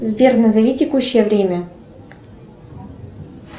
сбер назови текущее время